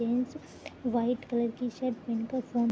white colour की shirt --